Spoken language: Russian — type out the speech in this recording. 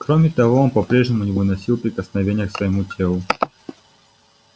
кроме того он по прежнему не выносил прикосновения к своему телу